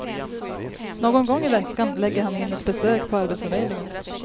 Någon gång i veckan lägger han in ett besök på arbetsförmedlingen.